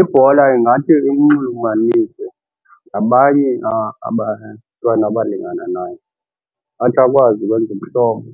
Ibhola ingathi imnxulumanise nabanye abantwana abalingana naye. Athi akwazi ukwenza ubuhlobo